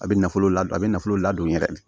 A bɛ nafolo ladon a bɛ nafolo ladon yɛrɛ